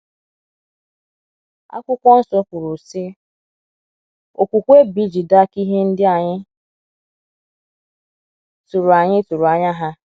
akwụkwo nsọ kwuru, sị: “ Okwukwe bụ ijide aka ihe ndị anyị tụrụ anyị tụrụ anya ha. ”